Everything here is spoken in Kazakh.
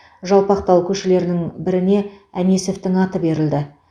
жалпақтал көшелерінің біріне әнесовтің аты берілді